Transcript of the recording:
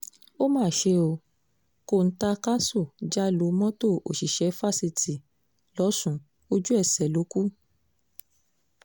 ó má ṣe ó kọ́ńtá káṣù já lu mọ́tò òṣìṣẹ́ fásitì losùn ojú-ẹsẹ̀ ló kù